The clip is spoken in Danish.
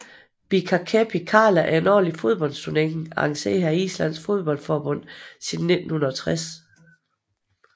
Bikarkeppni karla er en årlig fodboldturnering arrangeret af Islands fodboldforbund siden 1960